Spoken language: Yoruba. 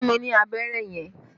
Fún mi ní abẹ́rẹ́ yẹn!